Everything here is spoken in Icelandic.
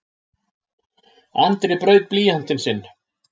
Andri braut blýantinn sinn.